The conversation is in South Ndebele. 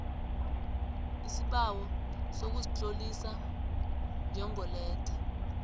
isibawo sokuzitlolisa njengoletha